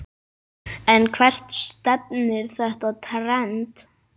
En hvert stefnir þetta trend?